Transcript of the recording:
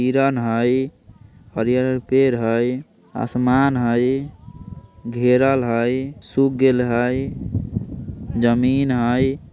हिरन हई हरियर-हरियर पेड़ हई आसमान हई घेरल हई सुख गेल हई जमीन हई।